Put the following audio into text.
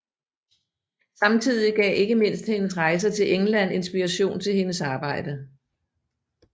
Samtidig gav ikke mindst hendes rejser til England inspiration til hendes arbejde